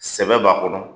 Sɛbɛ b'a kɔnɔ